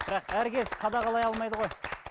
бірақ әркез қадағалай алмайды ғой